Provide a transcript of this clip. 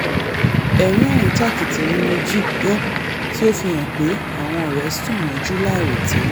ẹ̀rín àríntàkìtì ni mo jí gbọ́ tí ó fi hàn pé àwọn ọ̀rẹ́ sùn mọ́jú láìròtẹ́lẹ̀